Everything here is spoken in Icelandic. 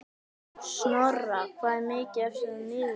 Snorra, hvað er mikið eftir af niðurteljaranum?